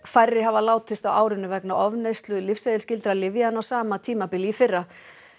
færri hafa látist á árinu vegna ofneyslu lyfseðilsskyldra lyfja en á sama tímabili í fyrra